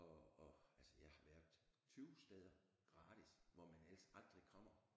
Og og altså jeg har været 20 steder gratis hvor man ellers aldrig kommer